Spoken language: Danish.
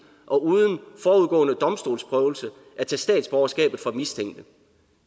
og uden forudgående domstolsprøvelse at tage statsborgerskabet fra mistænkte